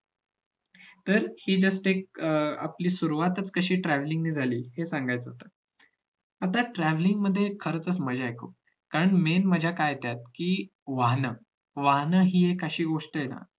तर हि just एक अं आपली सुरुवातच कशी travelling ने झाली हे सांगायचं होत. आता travelling मध्ये खरच मज्जा आहे खूप कारण main मज्जा काय आहे त्यात कि वाहन वाहन हि एक अशी गोष्ट आहे ना